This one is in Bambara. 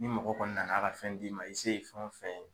Ni mɔgɔ kɔni nan'a ka fɛn d'i ma i se ye fɛn o fɛn ye